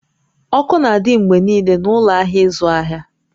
Ọkụ n'adị mgbe niile n'ụlọ ahịa ịzụ ahịa